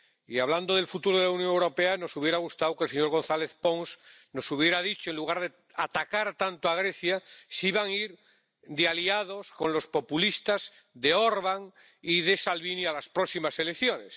Y hablando del futuro de la Unión Europea nos hubiera gustado que el señor González Pons nos hubiera dicho, en lugar de atacar tanto a Grecia, si van a ir de aliados con los populistas de Orban y de Salvini a las próximas elecciones.